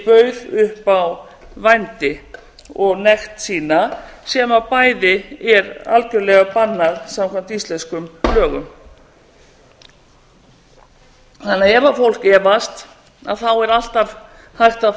bauð upp á vændi og nekt sína sem bæði er algjörlega bannað samkvæmt íslenskum lögum ef fólk því efast er alltaf hægt að